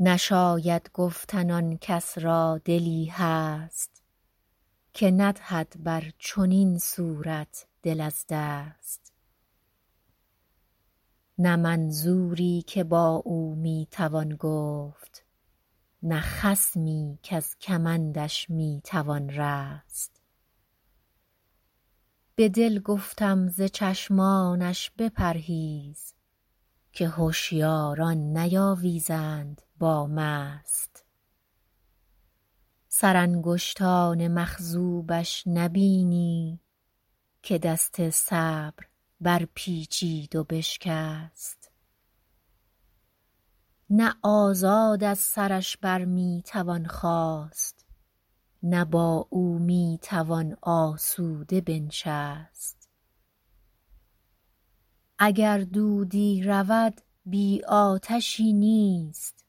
نشاید گفتن آن کس را دلی هست که ندهد بر چنین صورت دل از دست نه منظوری که با او می توان گفت نه خصمی کز کمندش می توان رست به دل گفتم ز چشمانش بپرهیز که هشیاران نیاویزند با مست سرانگشتان مخضوبش نبینی که دست صبر برپیچید و بشکست نه آزاد از سرش بر می توان خاست نه با او می توان آسوده بنشست اگر دودی رود بی آتشی نیست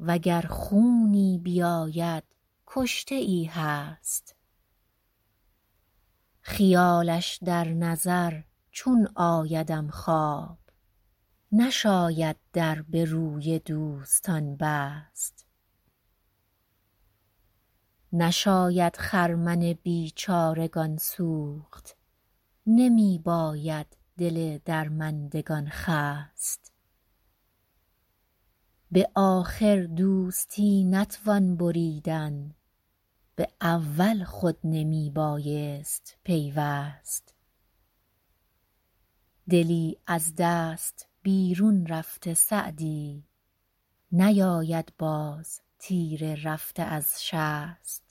و گر خونی بیاید کشته ای هست خیالش در نظر چون آیدم خواب نشاید در به روی دوستان بست نشاید خرمن بیچارگان سوخت نمی باید دل درماندگان خست به آخر دوستی نتوان بریدن به اول خود نمی بایست پیوست دلی از دست بیرون رفته سعدی نیاید باز تیر رفته از شست